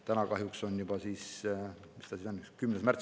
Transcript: Täna kahjuks on juba – mis ta siis on?